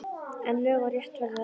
En lög og rétt verður að virða!